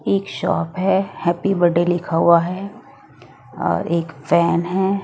एक शॉप हैं। Happy birthday लिखा हुआ हैं और एक फैन हैं।